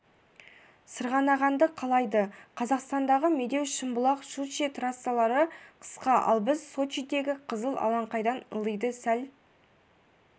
сырғанағанды қалайды қазақстандағы медеу шымбұлақ щучье трассалары қысқа ал біз сочидегі қызыл алаңқайдан ылдиы сәл